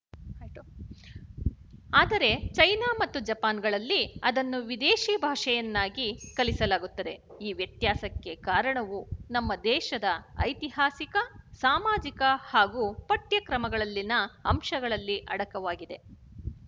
ಆದರೆ ಚೈನಾ ಮತ್ತು ಜಪಾನಿಗಳಲ್ಲಿ ಅದನ್ನು ವಿದೇಶಿ ಭಾಷೆಯನ್ನಾಗಿ ಕಲಿಸಲಾಗುತ್ತದೆ ಈ ವ್ಯತ್ಯಾಸಕ್ಕೆ ಕಾರಣವು ನಮ್ಮ ದೇಶದ ಐತಿಹಾಸಿಕ ಸಾಮಾಜಿಕ ಹಾಗೂ ಪಠ್ಯಕ್ರಮಗಳಲ್ಲಿನ ಅಂಶಗಳಲ್ಲಿ ಅಡಕವಾಗಿದೆ